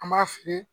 An b'a fili